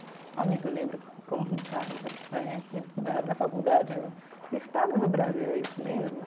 Amigo eu lembro que né na na faculdade, que estado do Brasil é isso mesmo?